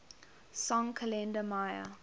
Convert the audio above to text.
song kalenda maya